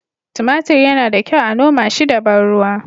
Tumatir yana da kyau a noma shi da ban ruwa